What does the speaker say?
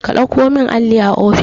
ka ɗauko min alli a ofishi